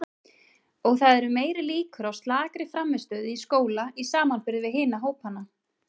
Og það eru meiri líkur á slakri frammistöðu í skóla í samanburði við hina hópana.